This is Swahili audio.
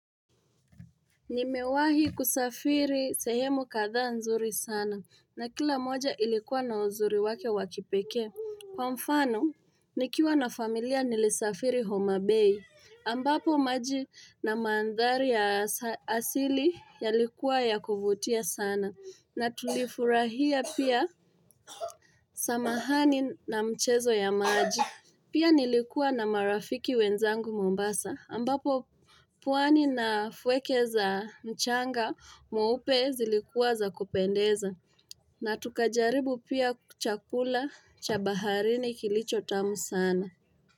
Nimewahi kusafiri sehemu kadhaa nzuri sana, na kila moja ilikuwa na uzuri wake wa kipekee. Kwa mfano, nikiwa na familia nilisafiri homa Bay. Ambapo maji na mandhari ya asili yalikuwa ya kuvutia sana. Na tulifurahia pia, samahani na mchezo ya maji. Pia nilikuwa na marafiki wenzangu Mombasa. Ambapo pwani na fweke za mchanga mweupe zilikuwa za kupendeza. Na tukajaribu pia chakula cha baharini kilicho tamu sana.